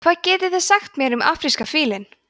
hvað getið þið sagt mér um afríska fílinn